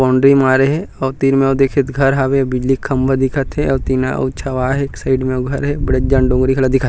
Boundary मारे हे अऊ तीर में ओ दिखित घर हवे बिजली के खम्भा दिखत हे और टीना अऊ छवाय एक साइड में अऊ घर हे बडेज जान डोंगरी घलो दिखत हे।